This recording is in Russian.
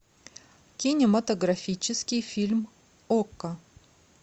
кинематографический фильм окко